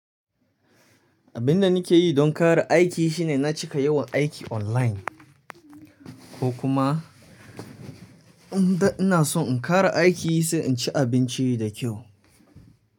Abin da nake yi don ƙara aiki shine na cika yawan aiki online. Ko kuma inda ina so in ƙara aiki sai in ci abinci da kyau.